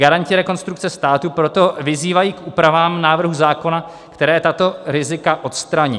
Garanti rekonstrukce státu proto vyzývají k úpravám návrhu zákona, které tato rizika odstraní.